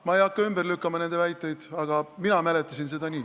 Ma ei hakka ümber lükkama nende väiteid, aga mina mäletasin seda nii.